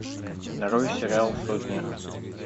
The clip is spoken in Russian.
нарой сериал сотня